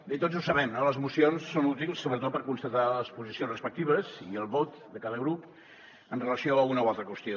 bé tots ho sabem no les mocions són útils sobretot per constatar les posicions respectives i el vot de cada grup amb relació a una o altra qüestió